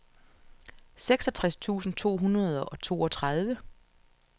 seksogtres tusind to hundrede og toogtredive